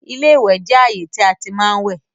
iléwẹ̀ jẹ ààyè tí a tí má ń wẹ̀